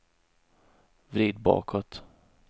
vrid bakåt